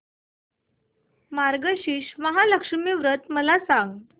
मार्गशीर्ष महालक्ष्मी व्रत मला सांग